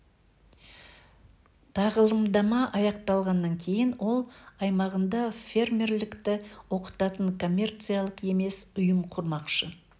тағылымдама аяқталғаннан кейін ол аймағында фермерлікті оқытатын коммерциялық емес ұйым құрмақшы